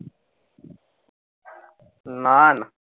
না না ।